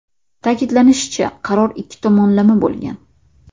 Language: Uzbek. Ta’kidlanishicha, qaror ikki tomonlama bo‘lgan.